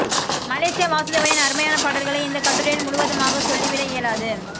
Malaysia வாசுதேவனின் அருமையான பாடல்களை இந்த கட்டுரையில் முழுவதுமாக சொல்லிவிட இயலாது